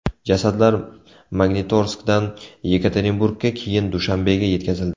Jasadlar Magnitorskdan Yekaterinburgga, keyin Dushanbega yetkazildi.